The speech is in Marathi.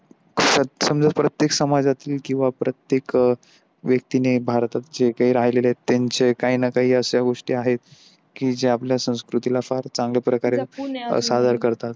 समजा प्रत्येक समाजातली किंवा प्रत्येक अ व्यक्तीने भारतात जे काही राहिलेले आहेत त्यांच्या काही न काही ना असा गोष्ट आहे की जे आपल्या संस्कृतीला फार चांगल्या प्रकारे सादर करतात.